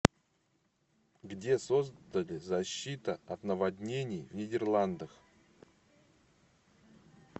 где создали защита от наводнений в нидерландах